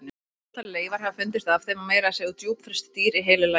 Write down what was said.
Ótal leifar hafa fundist af þeim og meira að segja djúpfryst dýr í heilu lagi.